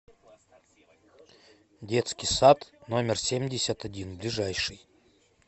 детский сад номер семьдесят один ближайший